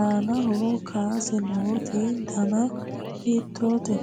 annaho kaasa nooti dana hiitoote